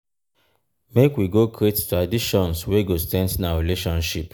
make we go create traditions wey go strengthen our relationship.